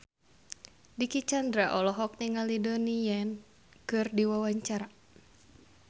Dicky Chandra olohok ningali Donnie Yan keur diwawancara